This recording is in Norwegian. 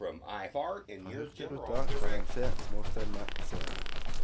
Fra hurtigruta kan en se småstedene passere.